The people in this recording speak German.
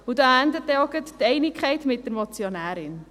Da endet denn auch gleich die Einigkeit mit der Motionärin.